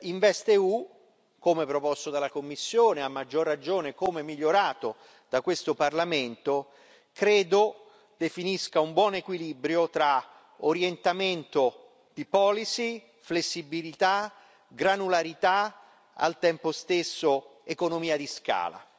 InvestEU, come proposto dalla Commissione, a maggior ragione come migliorato da questo Parlamento, credo definisca un buon equilibrio tra orientamento di policy, flessibilità, granularità e al tempo stesso economia di scala.